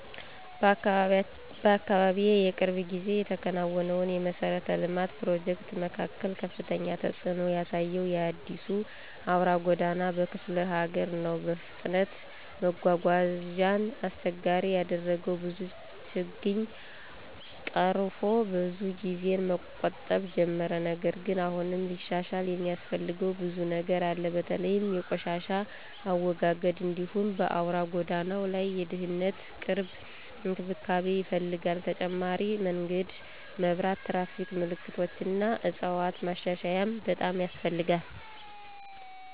በአካባቢዬ የቅርብ ጊዜ የተከናወነው የመሠረተ ልማት ፕሮጀክት መካከል ከፍተኛ ተጽእኖ ያሳየው የአዲሱ አውራ ጎዳና በክፍለ ሀገር ነው። በፍጥነት መጓጓዣን አስቸጋሪ ያደረገው ብዙ ችግኝ ቀርፎ ብዙ ጊዜን መቆጠብ ጀመረ። ነገር ግን አሁንም ሊሻሻል የሚያስፈልገው ብዙ ነገር አለ። በተለይ የቆሻሻ አወጋገድ እንዲሁም በአውራ ጎዳናው ላይ የድህነት ቅርብ እንክብካቤ ይፈልጋል። ተጨማሪ የመንገድ መብራት፣ ትራፊክ ምልክቶች እና ዕፅዋት ማሻሻያም በጣም ያስፈልጋል።